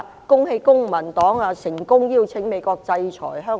恭喜公民黨成功邀請美國制裁香港！